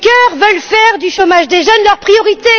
Juncker veulent faire du chômage des jeunes leur priorité.